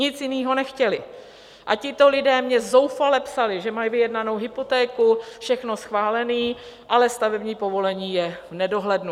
Nic jiného nechtěli a tito lidé mi zoufale psali, že mají vyjednanou hypotéku, všechno schválené, ale stavební povolení je v nedohlednu.